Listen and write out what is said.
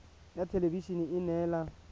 ya thelebi ene e neela